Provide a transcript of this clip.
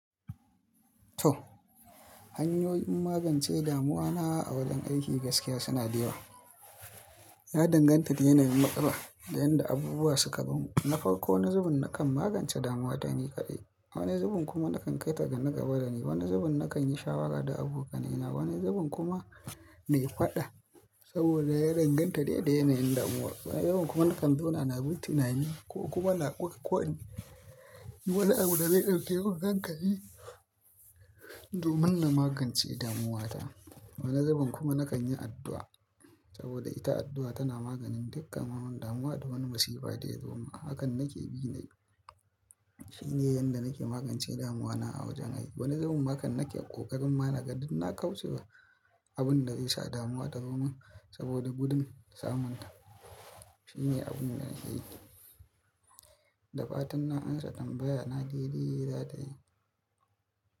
To hanyoyin magance damuwa na a wajen aiki gaskiya suna da yawa. Ya danganta da yanayin matsala da yanda abubuwa suka zomin. Na farko wani zubin nakan magance damuwa ta ne kaɗai. Wani zubin kuma nakan kai ta ga naƙaba da ni. Wani zubin nakan yi shawara da abokanai na. Wani zubin kuma na yi faɗa, saboda ya danganta da yanayin damuwa, wani zubin kuma nakan zauna na bi tunani, ko kuma na, duk wani abu da zai ɗauke mun hankali, domin na magance damuwa ta, wani zubin kuma na kan yi addu'a, saboda ita addu'a tana maganin dukkan yawan damuwa da wani masifa da ya zo min, hakan nake bi na yi, shine yanda nake magance damuwa na a wajen aiki. Wani zubin ma kan nake ƙoƙarin ma na ga din na kaucewa abun da zai sa damuwa ta zo min, saboda gudun samun ta. Shine abun da nake yi. Da fatan na an sa tambaya na daidai za ta yi.